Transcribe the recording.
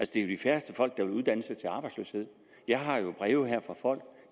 de færreste folk der vil uddanne sig til arbejdsløshed jeg har jo breve fra folk